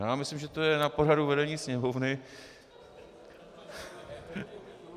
Já myslím, že to je na poradu vedení Sněmovny.